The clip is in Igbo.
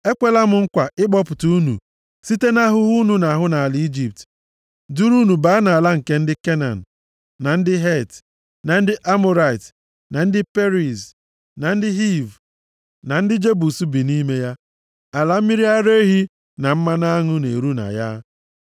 Ekweela m nkwa ịkpọpụta unu site nʼahụhụ unu na-ahụ nʼala Ijipt duru unu baa nʼala nke ndị Kenan, na ndị Het, na ndị Amọrait, na ndị Periz, na ndị Hiv, na ndị Jebus bi nʼime ya. Ala mmiri ara ehi na mmanụ aṅụ na-eru na ya.’